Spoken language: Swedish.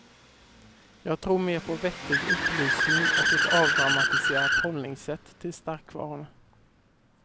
Jag tror mer på vettig upplysning och ett avdramatiserat hållningssätt till starkvarorna.